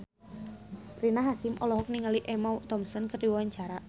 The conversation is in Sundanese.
Rina Hasyim olohok ningali Emma Thompson keur diwawancara